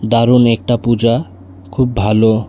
দারুন একটা পূজা খুব ভালো।